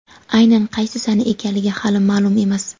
Aynan qaysi sana ekanligi hali ma’lum emas.